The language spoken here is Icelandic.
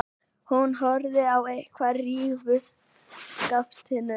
Hún horfði á eftir hrífuskaftinu.